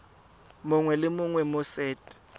mongwe le mongwe mo set